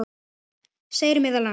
segir meðal annars